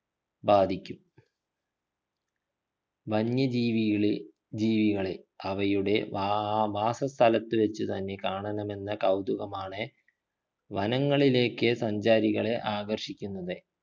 ബാധിക്കും വന്യജീവിയിലെ ജീവികളെ അവയുടെ വാ വാസസ്ഥലത്തു വച്ച് തന്നെ കാണണമെന്ന കൗതുകമാണ് വനങ്ങളിലേക്ക് സഞ്ചാരികളെ ആകർഷിക്കുന്നത്